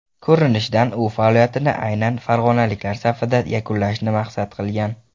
Ko‘rinishidan u faoliyatini aynan farg‘onaliklar safida yakunlashni maqsad qilgan.